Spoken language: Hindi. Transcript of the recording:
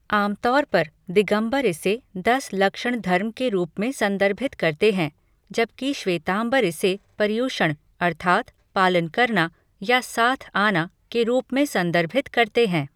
आम तौर पर, दिगंबर इसे दस लक्षण धर्म के रूप में संदर्भित करते हैं, जबकि श्वेतांबर इसे पर्युषण अर्थात् "पालन करना" या "साथ आना" के रूप में संदर्भित करते हैं।